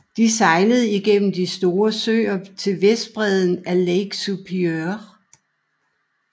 Det sejelde igennem de Store søer til vestbreden af Lake Superior